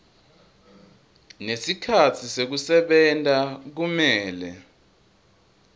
nesikhatsi sekusebenta kumele